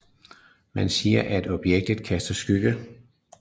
Man siger at objektet kaster skygge